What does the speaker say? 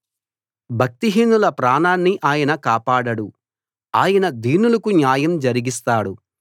భక్తిహీనుల ప్రాణాన్ని ఆయన కాపాడడు ఆయన దీనులకు న్యాయం జరిగిస్తాడు